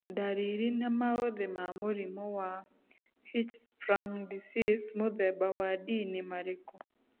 Ndariri na maũthĩ ma mũrimũ wa Hirschsprung disease mũthemba wa D nĩ marikũ?